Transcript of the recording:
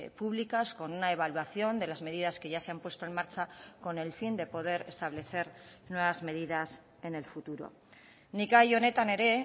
públicas con una evaluación de las medidas que ya se han puesto en marcha con el fin de poder establecer nuevas medidas en el futuro nik gai honetan ere